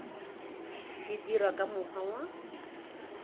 di dirwa ka mokgwa wa